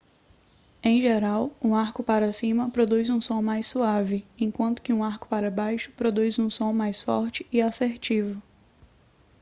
em geral um arco para cima produz um som mais suave enquanto que um arco para baixo produz um som mais forte e assertivo